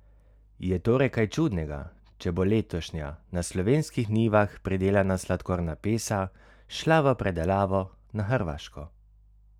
Je torej kaj čudnega, če bo letošnja, na slovenskih njivah pridelana sladkorna pesa, šla v predelavo na Hrvaško?